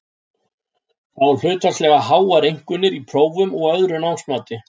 Fá hlutfallslega háar einkunnir í prófum og öðru námsmati.